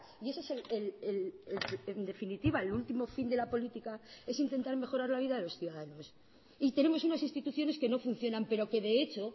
y eso es en definitiva el último fin de la política es intentar mejorar la vida de los ciudadanos y tenemos unas instituciones que no funcionan pero que de hecho